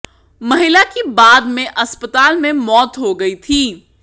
महिला की बाद में अस्पताल में मौत हो गई थी